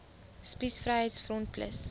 spies vryheids front plus